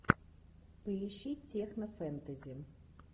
поищи техно фэнтези